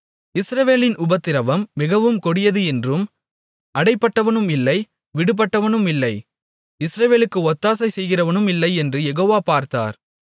இஸ்ரவேலின் உபத்திரவம் மிகவும் கொடியது என்றும் அடைபட்டவனுமில்லை விடுபட்டவனுமில்லை இஸ்ரவேலுக்கு ஒத்தாசை செய்கிறவனுமில்லை என்றும் யெகோவா பார்த்தார்